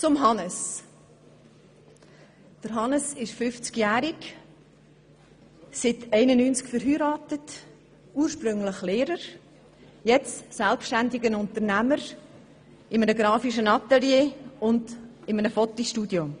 Zu Hannes Zaugg: Er ist 50 Jahre alt, seit 1991 verheiratet, ursprünglich Lehrer und jetzt selbständiger Unternehmer in einem grafischen Atelier und einem Fotostudio.